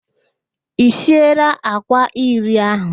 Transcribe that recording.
I sieela àkwá iri ahụ